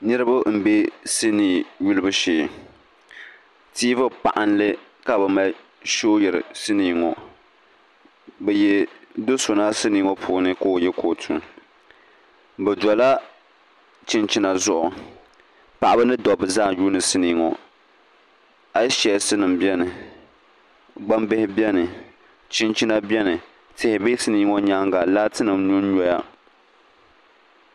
niriba m-be sinii yulibu shee tiivi paɣinli ka bɛ mali shooyiri sinii ŋɔ bɛ yihi do' so na sinii ŋɔ puuni ka o ye kootu bɛ dola chinchina zuɣu paɣa ni dɔbba zaa n-yuuni sinii ŋɔ ayisichɛsinima bɛni gbambihi bɛni chinchina bɛni tɛliviisinima ŋɔ nyaaŋa laatinima nyɔnnyɔya